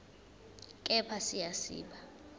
kepha siya siba